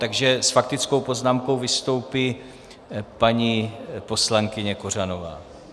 Takže s faktickou poznámkou vystoupí paní poslankyně Kořanová.